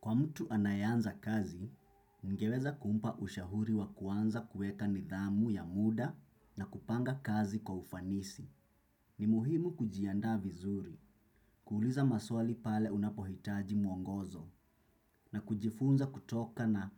Kwa mtu anayeanza kazi, ningeweza kumpa ushauri wa kuanza kuweka nidhamu ya muda na kupanga kazi kwa ufanisi. Ni muhimu kujiandaa vizuri, kuuliza maswali pale unapohitaji mwongozo, na kujifunza kutoka na